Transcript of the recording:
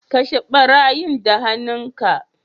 Kashe barayin da han'nu ka.